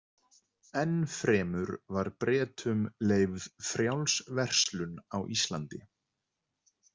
Enn fremur var Bretum leyfð frjáls verslun á Íslandi.